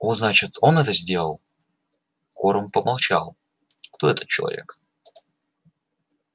о значит он это сделал корм помолчал кто этот человек